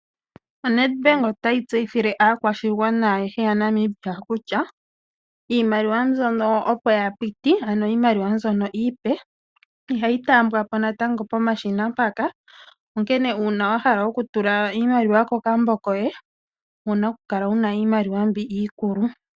ONedbank otayi tseyithile aakwashigwana ayehe yaNamibia kutya iimaliwa mbyono opo ya piti ano iimaliwa mbyono iipe ihayi taambwako natango pomashina mpaka, onkene uuna wahala okutula iimaliwa kokambo koye owuna okukala wuna iimaliwa mbi iikulu.